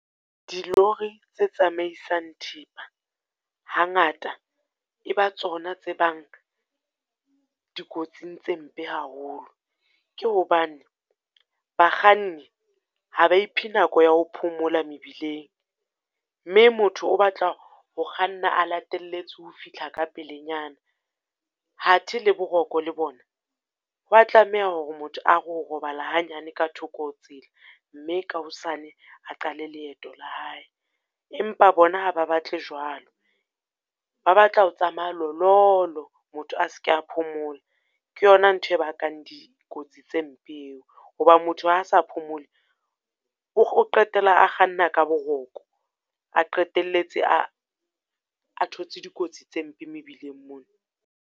Dilori tse tsamaisang thepa hangata e ba tsona tse bang dikotsing tse mpe haholo. Ke hobane bakganni ha ba iphe nako ya ho phomola mebileng, mme motho o batla ho kganna a latelletse ho fihla ka pelenyana. Hathe le boroko le bona, ho wa tlameha hore motho a re ho robala hanyane ka thoko ho tsela, mme ka hosane a qale leeto la hae. Empa bona ha ba batle jwalo, ba batla ho tsamaya lololo, motho a seke a phomola. Ke yona ntho e bakang dikotsi tse mpe eo, ho ba motho ha a sa phomole o qetela a kganna ka boroko, a qetelletse a a thotse dikotsi tse mpe mebileng mona.